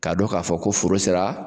K'a don k'a fɔ ko foro sera.